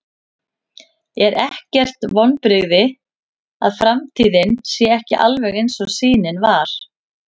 Er ekkert vonbrigði að framtíðin sé ekki alveg eins og sýnin var?